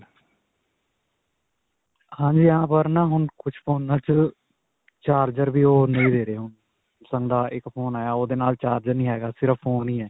ਹਾਂਜੀ. ਹਾਂ ਪਰ ਨਾ ਹੁਣ ਕੁੱਝ ਫੋਨਾਂ 'ਚ charger ਵੀ ਓਹ ਨਹੀਂ ਦੇ ਰਹੇ ਹੁਣ. ਇੱਕ ਫੋਨ ਆਇਆ ਓਹਦੇ ਨਾਲ charger ਨਹੀਂ ਹੈ, ਸਿਰਫ ਫੋਨ ਹੀ ਹੈ.